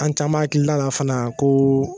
An caman akilila la fana ko